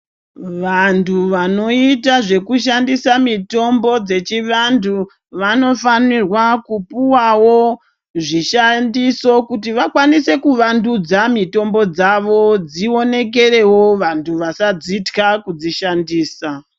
Vantu vanoita zvekushandisa mitombo dzechivantu, vanofanirwa kupuwawo zvishandiso, kuti vakwanise kuvandudza mitombo dzavo dzionekerewo vanthu vasadzithya kudzishandisa.